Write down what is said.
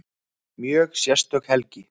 Mjög sérstök helgi